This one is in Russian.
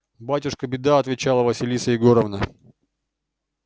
батюшки беда отвечала василиса егоровна